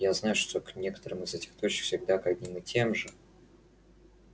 я знаю что к некоторым из этих точек всегда к одним и тем же